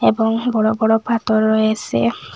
এবং বড় বড় পাথর রয়েসে।